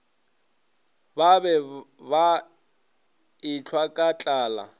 be ba ehlwa ka tlala